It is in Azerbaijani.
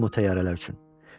Ölürdüm o təyyarələr üçün.